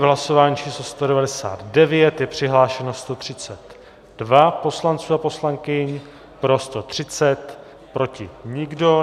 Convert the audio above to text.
V hlasování číslo 199 je přihlášeno 132 poslanců a poslankyň, pro 130, proti nikdo.